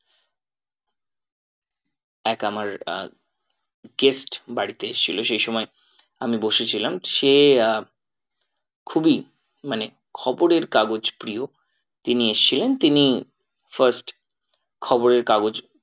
এক আমার আহ gest বাড়িতে এসছিল সেই সময় আমি বসেছিলাম সে আহ খুবই মানে খবরের কাগজ প্রিয় তিনি এসছিলেন তিনি first খবরের কাগজ